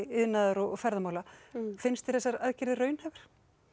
iðnaðar og ferðamála finnst þér þessar aðgerðir raunhæfar